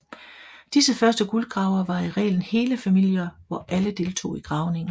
Disse første guldgravere var i reglen hele familier hvor alle deltog i gravningen